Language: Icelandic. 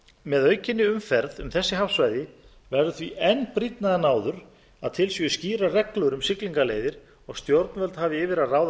með aukinni umferð um þessi hafsvæði verður því enn brýnna en áður að til séu skýrar reglur um siglingaleiðir og stjórnvöld hafi yfir að ráða